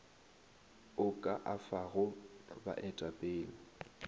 o ka a fago baetapele